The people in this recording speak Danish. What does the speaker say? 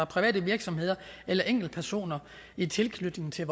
private virksomheder eller enkeltpersoner i tilknytning til